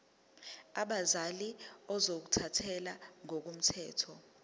abazali ozothathele ngokomthetho